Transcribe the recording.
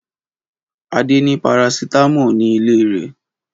Adé ní parasítámọ̀ ní ilé rẹ̀.